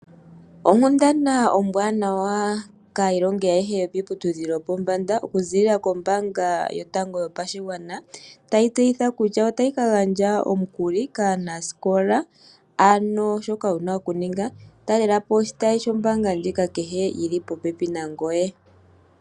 Onkundana ombwanawa kaayilongi ayehe yokiiputudhilo yopombanda . Okuza kombaanga yotango yopashigwana tayi ya tseyithile kutya otayi ka gandja omukuli kaanasikola. Ano shoka wuna oku ninga talelapo oshitayi shombaanga ndjika kehe shili popepi nangoye.